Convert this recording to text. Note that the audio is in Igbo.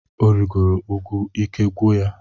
O rigoro úgwú ike agwụ ya.